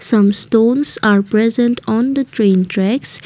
some stones are present on the train tracks.